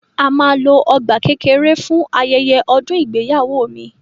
A máa lo ọgbà kékeré fún ayẹyẹ ọdún ìgbéyàwó mi.